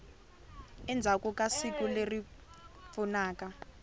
endzhaku ka siku leri pfunaka